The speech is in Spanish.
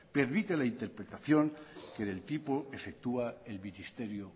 permite la interpretación que del tipo efectúa el ministerio